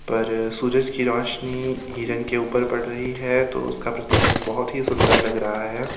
पर सूरज की रोशनी हिरण के ऊपर पड़ रही है तो उसका प्रतिबिंब बहुत ही सुंदर लग रहा है.